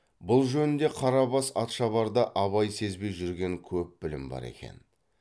бұл жөнінде қарабас атшабарда абай сезбей жүрген көп білім бар екен